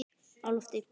Á lofti